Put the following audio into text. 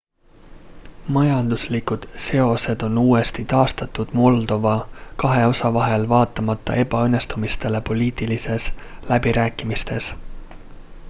majanduslikud seosed on uuesti taastatud moldova kahe osa vahel vaatamata ebaõnnestumistele poliitilistes läbirääkimistes